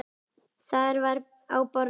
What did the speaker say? Þar var á borðum